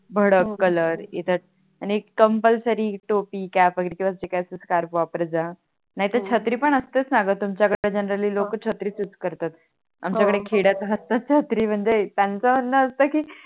भडक कलर इतर आणि एक कंपल्सरी टोपी स्कार्फ वगेरे किवा जे काही असेल स्कार्फ वापरत जा नाही तर छत्री पण असतेच णा ग तुमच्या कडे Generally लोक छत्रीच यूज करतात आमच्या हो इकडे खेड्यात छत्री म्हणजे त्यांच म्हणण असत णा की